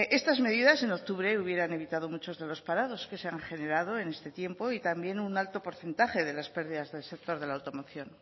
estas medidas en octubre hubieran evitado muchas de los parados que se han generado en este tiempo y también un alto porcentaje de las pérdidas del sector de la automoción